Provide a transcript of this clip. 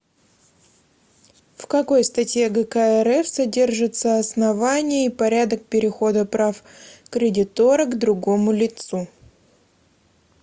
в какой статье гк рф содержатся основания и порядок перехода прав кредитора к другому лицу